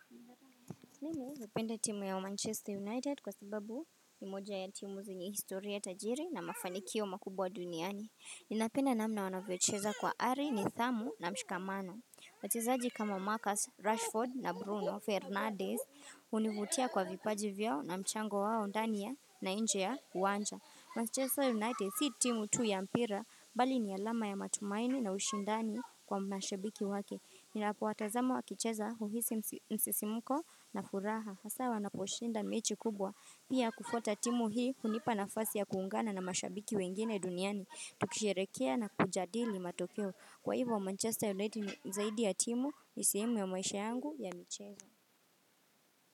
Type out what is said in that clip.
Mimi napenda timu ya Manchester United kwasababu ni moja ya timu zenye historia tajiri na mafanikio makubwa duniani. Ninapenda namna wanavyocheza kwa ari, nithamu na mshikamano. Wachezaji kama Marcus Rashford na Bruno Fernandez hunivutia kwa vipaji vyao na mchango wao ndani ya na inje ya uwanja. Manchester United si timu tu ya mpira bali ni alama ya matumaini na ushindani kwa mashabiki wake. Ninapo watazama wakicheza huhisi msisimuko na furaha Hasa wanaposhinda mechi kubwa. Pia kufuata timu hii hunipa nafasi ya kuungana na mashabiki wengine duniani, tukisherehekea na kujadili matokeo, Kwa hivyo Manchester United ni zaidi ya timu, nisehemu ya maisha yangu ya micheza.